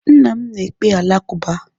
Nna m na-ekpe Alakụba.